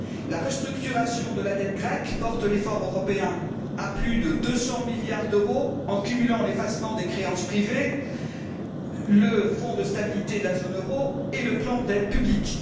La restructuration de la dette grecque porte l'effort européen à plus de 200 milliards d'euros, en cumulant l'effacement des créances privées, le fonds de stabilité de la zone euro et le plan d'aides publiques.